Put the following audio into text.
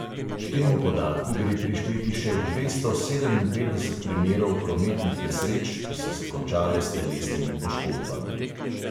K temu podatku gre prišteti še dvesto sedeminpetdeset primerov prometnih nesreč, ki so se končale s telesnimi poškodbami.